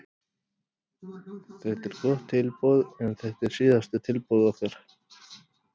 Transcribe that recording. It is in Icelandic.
Þetta er gott tilboð en þetta er síðasta tilboð okkar.